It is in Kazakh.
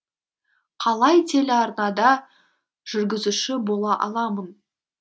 қалай телеарнада жүргізуші бола аламын